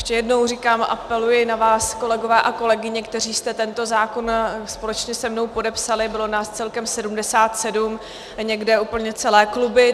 Ještě jednou říkám, apeluji na vás, kolegyně a kolegové, kteří jste tento zákon společně se mnou podepsali, bylo nás celkem 77, někde úplně celé kluby.